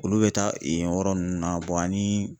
Olu bɛ taa yen yɔrɔ ninnu na ani.